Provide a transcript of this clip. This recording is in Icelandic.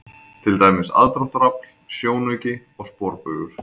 Til dæmis: aðdráttarafl, sjónauki og sporbaugur.